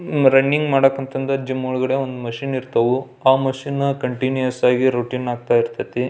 running ಮಾಡಕ್ ಅಂತಂದೆ gym ಒಳಗೆ ಒಂದು ಮಿಶಿನ್ ಇರ್ತವು ಆ ಮೆಶಿನ್ ಕಂಟಿನ್ಯೂ ಆಗಿ ರೂಟಿನ್ ಇರತೈತಿ --